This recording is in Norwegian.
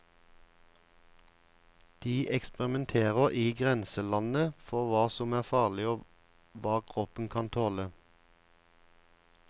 De eksperimenterer i grenselandet for hva som er farlig og hva kroppen kan tåle.